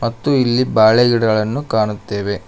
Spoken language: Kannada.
ಮತ್ತು ಇಲ್ಲಿ ಬಾಳೆ ಗಿಡಗಳನ್ನು ಕಾಣುತ್ತೇವೆ.